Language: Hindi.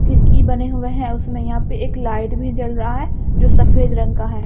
खिड़की बने हुए हैं उसमें यहां पे एक लाइट भी जल रहा है जो सफेद रंग का है।